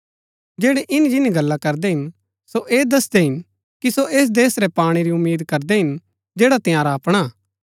जैड़ै इन्‍नी जिन्‍नी गल्ला करदै हिन सो ऐह दसदै हिन कि सो ऐस देश रै पाणै री उम्मीद करदै हिन जैड़ा तंयारा अपणा हा